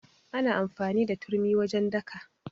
Ana amfani da turmi wajen daka.